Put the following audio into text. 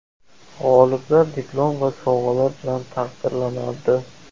G‘oliblar diplom va sovg‘alar bilan taqdirlanadi.